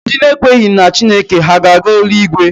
Ndị ekwenyeghị na Chineke ha ga-aga eluigwe?